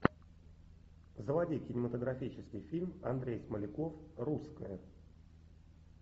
заводи кинематографический фильм андрей смоляков русская